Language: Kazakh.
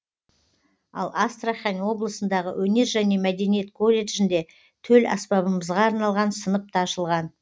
ал астрахань облысындағы өнер және мәдениет колледжінде төл аспабымызға арналған сынып та ашылған